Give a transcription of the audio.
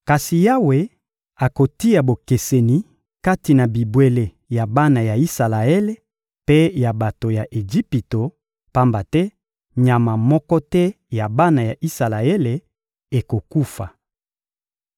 Kasi Yawe akotia bokeseni kati na bibwele ya bana ya Isalaele mpe ya bato ya Ejipito, pamba te nyama moko te ya bana ya Isalaele ekokufa.›»